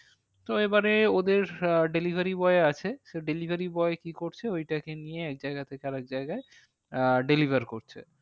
তো এবারে ওদের আহ delivery boy আছে। সে delivery boy কি করছে ওইটাকে নিয়ে এক জায়গা থেকে আর এক জায়গায় আহ deliver করছে।